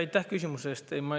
Aitäh küsimuse eest!